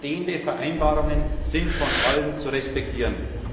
Bestehende Vereinbarungen sind von allen zu respektieren.